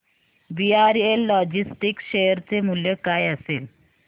VRL logistics share चे मूल्य काय असेल